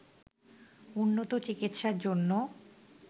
উন্নত চিকিৎসার জন্য